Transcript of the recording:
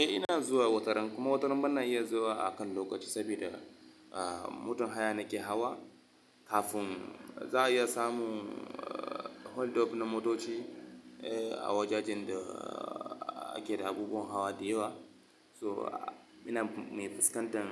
Eh ina zuwa wataran kuma wataran bana iya zuwa akan lokaci saboda ah motan haya nake hawa kafin za a iya samun ah hold up na motoci eh a wajajen da ake da abubuwan hawa da yawa. So ina mai fuskantar